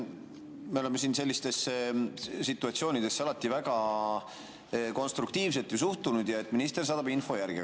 Me oleme sellistesse situatsioonidesse alati väga konstruktiivselt suhtunud, et minister saadab info järgi.